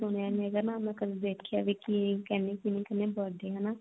ਸੁਣਿਆ ਨਹੀਂ ਹੈਗਾ ਕਦੇ ਦੇਖਿਆ ਵੀ ਹੈਗਾ ਵੀ ਕਿ ਕਹਿੰਦੇ ਕਿਹਨੂੰ ਕਹਿੰਦੇ birthday ਹਨਾ